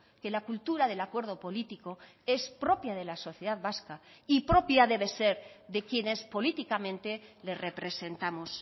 que la cultura del acuerdo político es propia de la sociedad vasca y propia debe ser de quienes políticamente le representamos